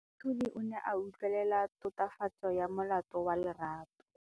Moatlhodi o ne a utlwelela tatofatsô ya molato wa Lerato.